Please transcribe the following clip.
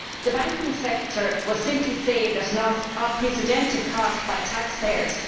The banking sector will simply save that not unprecedented cost by taxpayers.